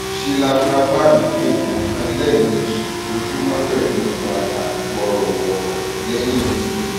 shilapravang oògùn kan lẹẹmejì lójúmọ pẹlú wàrà wọọrọwọ lẹyìn oúnjẹ